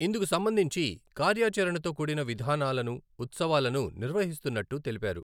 ఇందుకు సంబంధించి కార్యాచరణతో కూడిన విధానాలను, ఉత్సవాలను నిర్వహిస్తున్నట్టు తెలిపారు.